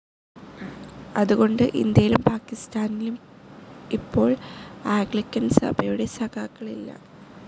അതുകൊണ്ട് ഇന്ത്യയിലും പാക്കിസ്ഥാനിലും ഇപ്പോൾ ആഗ്ലിക്കൻ സഭയുടെ സഘാക്കളില്ല.